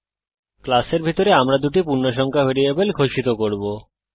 ক্লাসের ভিতরে আমরা দুটি পূর্ণসংখ্যা ভ্যারিয়েবল ঘোষিত করব